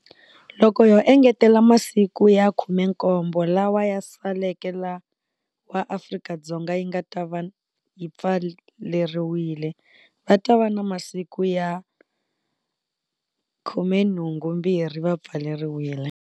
Loko ho engetela masiku ya 17 lawa ya saleke lawa Afrika-Dzonga yi nga ta va yi pfaleriwile va ta va na masiku ya 82 va pfaleriwile.